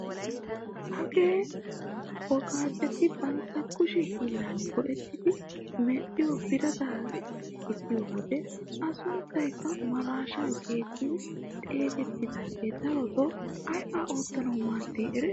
Hagee woqaacetti bantta kushshee hiillan go"ettidi medhiyoo birataa gidiyoo wode a sunttaykka maraashshaa getettidi xegettiyaagee darotoo aybaa oottanawu maaddii eretii?